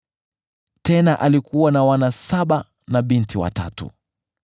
Tena alikuwa na wana saba na binti watatu.